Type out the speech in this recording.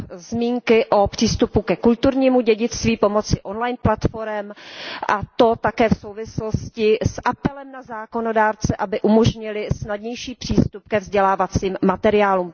zmínky o přístupu ke kulturnímu dědictví pomocí online platforem a to také v souvislosti s apelem na zákonodárce, aby umožnili snadnější přístup ke vzdělávacím materiálům.